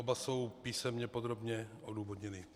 Oba jsou písemně podrobně odůvodněny.